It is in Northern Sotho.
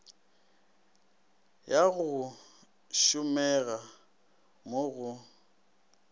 ya go tsomega mo go